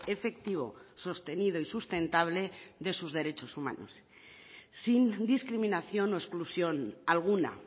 efectivo sostenido y sustentable de sus derechos humanos sin discriminación o exclusión alguna